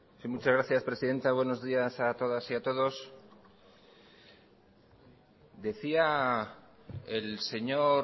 muchas gracias presidenta buenos días a todas y a todos decía el señor